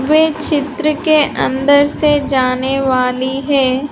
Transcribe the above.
वे चित्र के अंदर से जाने वाली है।